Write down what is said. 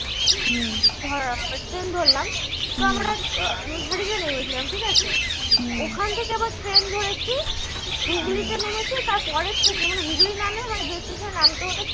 ধর bus stand ধরলাম তো আমরা নেমে পড়ছিলাম ঠিকাছে ওখান থেকে আবার train ধরেছি হুগলীতে নেমেছি তার পরের station এ মানে হুগলি না নেমে যে station এ নামতে হত